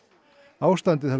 ástandið hafi